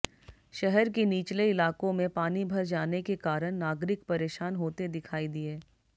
शहर के निचले इलाकों में पानी भर जाने के कारण नागरिक परेशान होते दिखाई दिए